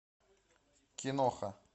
киноха